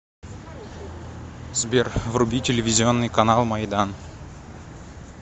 сбер вруби телевизионный канал майдан